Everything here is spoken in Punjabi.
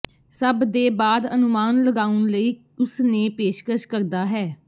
ਸਭ ਦੇ ਬਾਅਦ ਅਨੁਮਾਨ ਲਗਾਉਣ ਲਈ ਉਸ ਨੇ ਪੇਸ਼ਕਸ਼ ਕਰਦਾ ਹੈ